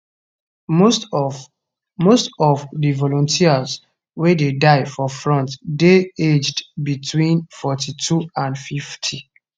most of most of di volunteers wey dey die for front dey aged between 42 and 50